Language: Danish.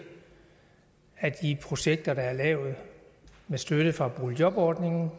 af de projekter der er lavet med støtte fra boligjobordningen